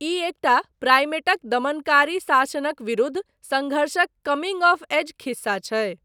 ई एकटा प्राइमेटक दमनकारी शासनक विरुद्ध सङ्घर्षक कमिंग ऑफ़ एज खिस्सा छै।